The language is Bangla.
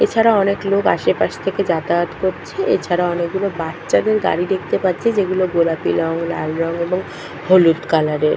এছাড়া অনেক লোক আশেপাশে থেকে যাতায়াত করছে। এছাড়া অনেকগুলো বাচ্চাদের গাড়ি দেখতে পাচ্ছি যেগুলো গোলাপি রঙ লাল রঙ এবং হলুদ কালার এর।